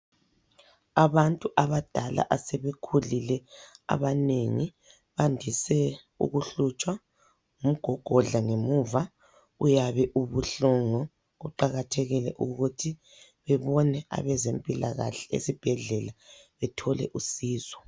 Abantu abadala, asebekhulile abanengi bandise ukuhlutshwa ngumgogodla ngemuva, uyabe ubuhlungu, kuqakathekile ukuthi bebone abezempilakahle esibhedlela bethole usizo.